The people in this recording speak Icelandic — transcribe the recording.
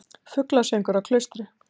Fuglasöngur á Klaustri